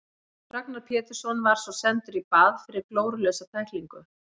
Ragnar Pétursson var svo sendur í bað fyrir glórulausa tæklingu.